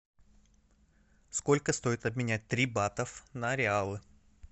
сколько стоит обменять три батов на реалы